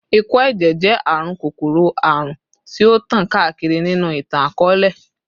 Ikọ-ẹjẹ jẹ arun kokoro-arun ti o tan kaakiri ninu itan-akọọlẹ